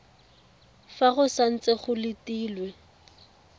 fa go santse go letilwe